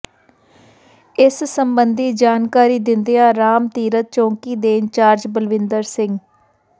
ਇਸ ਸਬੰਧੀ ਜਾਣਕਾਰੀ ਦਿੰਦਿਆਂ ਰਾਮ ਤੀਰਥ ਚੌਂਕੀ ਦੇ ਇੰਚਾਰਜ ਬਲਵਿੰਦਰ ਸਿੰਘ